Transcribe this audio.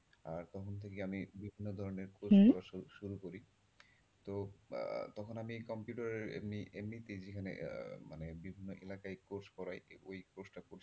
আর তখন থেকেই আমি বিভিন্ন ধরনের course করা শুরু করি। তো তখন আমি কম্পিউটারের এমনি এমনি মানে বিভিন্ন এলাকায় course করাই। ওই course টা খুব।